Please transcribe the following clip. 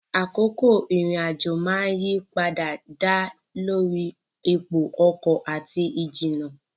Àkókò ìrìn-àjò máa ń yí padà dá lórí ipò ọkọ̀ àti ìjìnnà.